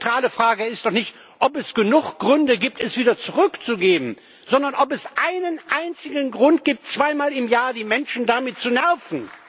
Die zentrale Frage ist nicht, ob es genug Gründe gibt, es wieder zurückzunehmen, sondern ob es einen einzigen Grund gibt, zweimal im Jahr die Menschen damit zu nerven.